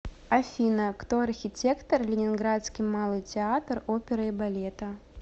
афина кто архитектор ленинградский малый театр оперы и балета